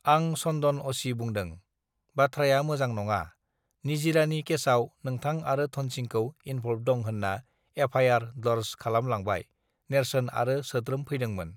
आं सन्दन अ सि बुंदों बाथ्रायामोजां नङा निजिरानि केसआव नोंथां आरो धोनसिंखौ इनभल्ब दं होत्रा एफ आइ आर डर्ज खालाम लांबाय नेर्सोन आरो सोद्रोम फैदोंमोन